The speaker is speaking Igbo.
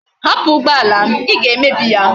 Hapu ugboala m! I ga emebi ya